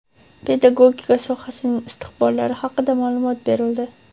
pedagogika sohasining istiqbollari haqida ma’lumot berildi.